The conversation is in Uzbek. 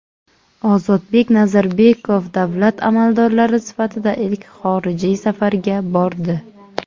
Ozodbek Nazarbekov davlat amaldori sifatida ilk xorijiy safarga bordi.